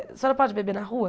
A senhora pode beber na rua?